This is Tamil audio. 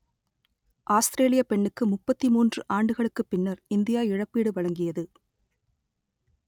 ஆஸ்த்ரேலியப் பெண்ணுக்கு முப்பத்தி மூன்று ஆண்டுகளுக்குப் பின்னர் இந்தியா இழப்பீடு வழங்கியது